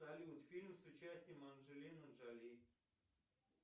салют фильм с участием анджелины джоли